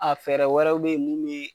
A fɛɛrɛ wɛrɛw be yen mun be